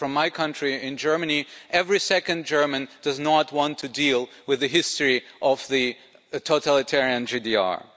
in my country of Germany, every second German does not want to deal with the history of the totalitarian GDR.